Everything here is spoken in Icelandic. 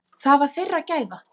Það var þeirra gæfa.